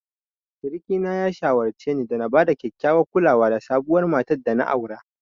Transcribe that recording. Suriki na ya shawarce ni na bada kyakkyawar kulawa da sabuwar matar dana aura.